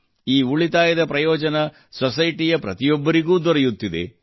ಈ ಉಳಿತಾಯದ ಪ್ರಯೋಜನ ಸೊಸೈಟಿಯಲ್ಲಿ ಪ್ರತಿಯೊಬ್ಬರಿಗೂ ದೊರೆಯುತ್ತಿದೆ